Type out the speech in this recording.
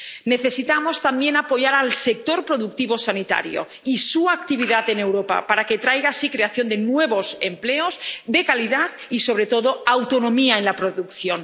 Necesitamos también apoyar al sector productivo sanitario y su actividad en Europa, para que traiga así creación de nuevos empleos de calidad y, sobre todo, autonomía en la producción.